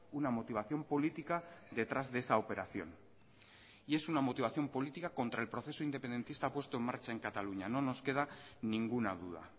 una motivación política detrás de esa operación y es una motivación política contra el proceso independentista puesto en marcha en cataluña no nos queda ninguna duda